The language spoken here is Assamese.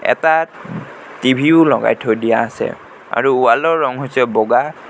এটা টিভি ও লগাই থৈ দিয়া আছে আৰু ৱাল ৰ ৰং হৈছে বগা।